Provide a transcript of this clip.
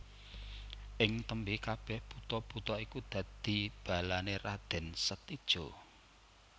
Ing tembé kabèh buta buta iku dadi balané Raden Setija